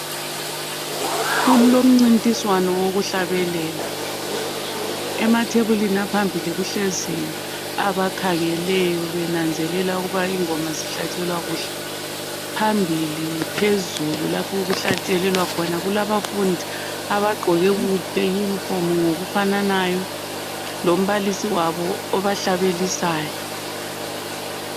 Kulomncintiswano wokuhlabelela. Emathebulini aphambili kuhlezi abakhangeleyo, benanzelela ukuba ingoma zihlatshelwa kuhle. Phambili, phezulu , lapha okuhlatshelelwa khona kukhona abafundi abagqoke amayunifomu ngokufananayo Lombalisi wabo obahlabelisayo.